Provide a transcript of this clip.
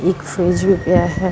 ਇਕ ਫਰੀਜ ਰੁਕਿਆ ਹੈ।